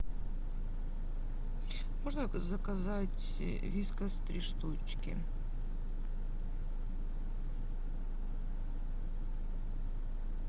можно заказать вискас три штучки